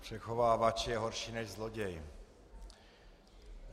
Přechovávač je horší než zloděj.